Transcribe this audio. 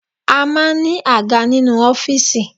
A maa n ní àga nínú ọ́fìsì